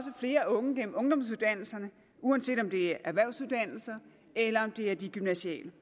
flere unge gennem ungdomsuddannelserne uanset om det er erhvervsuddannelserne eller de gymnasiale